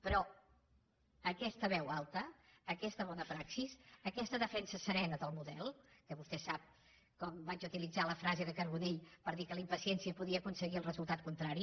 però aquesta veu alta aquesta bona praxi aquesta defensa serena del model que vostè sap com vaig utilitzar la frase de carbonell per dir que la impaciència podia aconseguir el resultat contrari